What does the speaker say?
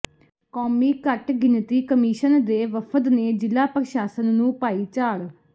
ਕੌਮੀ ਘੱਟ ਗਿਣਤੀ ਕਮਿਸ਼ਨ ਦੇ ਵਫ਼ਦ ਨੇ ਜ਼ਿਲਾ ਪ੍ਰਸ਼ਾਸਨ ਨੂੰ ਪਾਈ ਝਾੜ